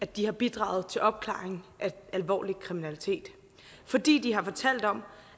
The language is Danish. de har bidraget til opklaringen af alvorlig kriminalitet fordi de har fortalt om